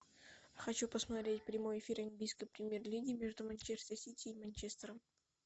хочу посмотреть прямой эфир английской премьер лиги между манчестер сити и манчестером